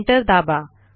enter दाबा